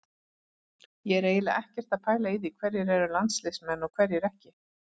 Ég er eiginlega ekkert að pæla í því hverjir eru landsliðsmenn og hverjir ekki.